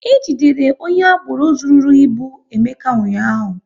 E jidere onye agboro zụrụru ịbụ Emeka ụnyaahụ